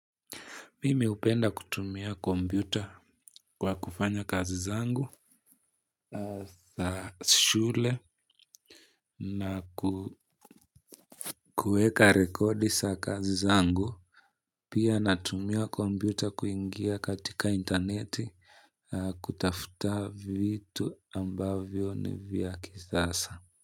Mimi hupenda kutumia kompyuta kwa kufanya kazi zangu za shule na kueka rekodi za kazi zangu. Pia natumia kompyuta kuingia katika internet kutafuta vitu ambavyo ni vya kisasa.